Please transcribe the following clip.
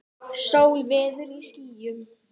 Sól veður í skýjum.